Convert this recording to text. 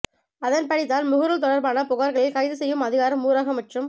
அதன் படிதான் முகநூல் தொடர்பான புகார்களில் கைதுசெய்யும் அதிகாரம் ஊரக மற்றும்